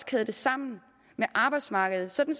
kæde det sammen med arbejdsmarkedet sådan